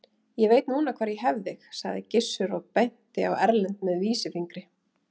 Ég veit núna hvar ég hef þig, sagði Gizur og benti á Erlend með vísifingri.